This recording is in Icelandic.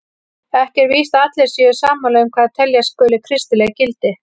Ekki er víst að allir séu sammála um hvað teljast skuli kristileg gildi.